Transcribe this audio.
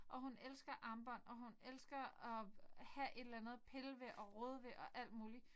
Og hun elsker armbånd og hun elsker at have et eller andet at pille ved og rode ved og alt muligt